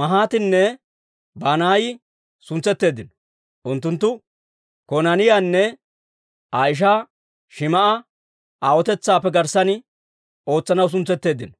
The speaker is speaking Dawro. Mahaatinne Banaayi suntsetteeddino; unttunttu Konaaniyaanne Aa ishaa Shim"a aawotetsaappe garssanna ootsanaw suntsetteeddino.